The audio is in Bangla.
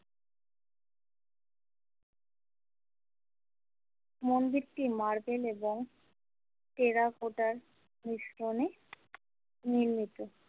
মন্দিরটি মার্বেল এবং টেরাকোটার মিশ্রণে নির্মিত।